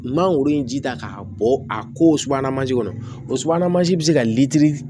Mangoro in ji ta k'a bɔ a ko subahana mansi kɔnɔ o subahana mansin bɛ se ka litiri